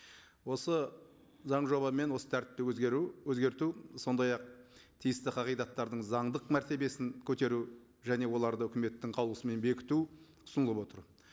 осы заң жобамен осы тәртіпті өзгеру өзгерту сондай ақ тиісті қағидаттардың заңдық мәртебесін көтеру және оларды үкіметтің қаулысымен бекіту ұсынылып отыр